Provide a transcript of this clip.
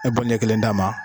E ɲɛ kelen d'a ma